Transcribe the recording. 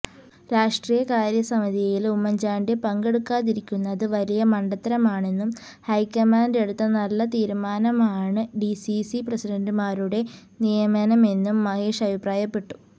രാഷ്ട്രീയകാര്യ സമിതിയില് ഉമ്മന്ചാണ്ടി പങ്കെടുക്കാതിരിക്കുന്നത് വലിയ മണ്ടത്തരമാണെന്നും ഹൈക്കമാന്ഡ് എടുത്ത നല്ല തീരുമാനമാണ് ഡിസിസി പ്രസിഡന്റുമാരുടെ നിയമനമെന്നും മഹേഷ് അഭിപ്രായപ്പെട്ടു